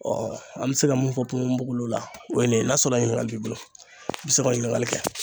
an bɛ se ka mun fɔ ponbonbogolo la o ye nin ye n'a sɔrɔ ɲininkali b'i bolo i bɛ se ka ɲininkali kɛ.